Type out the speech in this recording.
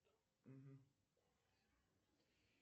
афина как работает сири